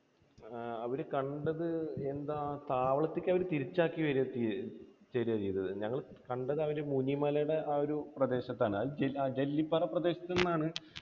ആ അവരെ കണ്ടത് എന്താ, താവളത്തിലേക്ക് അവർ തിരിച്ച് ആക്കി തരുവാ ചെയ്തത്. ഞങ്ങൾ അവരെ കണ്ടതാ മുനിമലയുടെ ആ ഒരു പ്രദേശത്തുനിന്നാണ്. ജെല്ലിപ്പാറ പ്രദേശത്തുനിന്നാണ്